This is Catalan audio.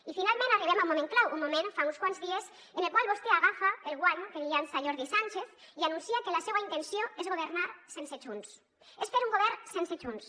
i finalment arribem a un moment clau un moment fa uns quants dies en el qual vostè agafa el guant que li llança jordi sànchez i anuncia que la seua intenció és governar sense junts és fer un govern sense junts